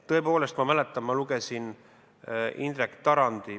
Tõepoolest, ma lugesin Indrek Tarandi ...